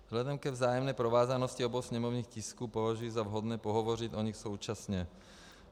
Vzhledem ke vzájemné provázanosti obou sněmovních tisků považuji za vhodné pohovořit o nich současně.